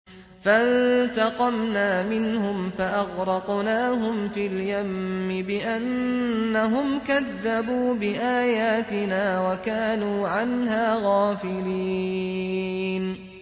فَانتَقَمْنَا مِنْهُمْ فَأَغْرَقْنَاهُمْ فِي الْيَمِّ بِأَنَّهُمْ كَذَّبُوا بِآيَاتِنَا وَكَانُوا عَنْهَا غَافِلِينَ